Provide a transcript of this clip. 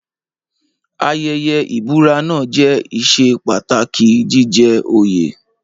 Ayẹyẹ ìbúra náà jẹ́ ìṣe pàtàkì jíjẹ òye.